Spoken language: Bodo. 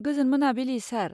गोजोन मोनाबिलि, सार।